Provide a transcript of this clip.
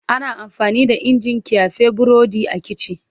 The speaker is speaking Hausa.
Ana amfani da injin ƙyafe burodi a kici.